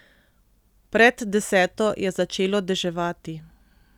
Pred deseto je začelo deževati.